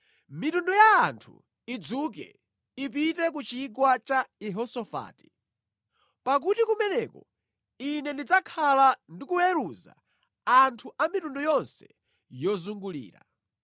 “Mitundu ya anthu idzuke; ipite ku Chigwa cha Yehosafati, pakuti kumeneko Ine ndidzakhala ndikuweruza anthu a mitundu yonse yozungulira.